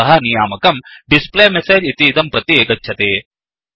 अतः नियामकं displayMessageडिस्प्ले मेसेज् इतीदं प्रति गच्छति